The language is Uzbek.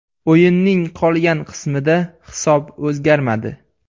O‘yinning qolgan qismida hisob o‘zgarmadi.